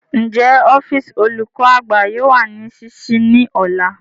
Njẹ ọfiisi olukọ-agba yoo wa ni ṣiṣii ni ọla?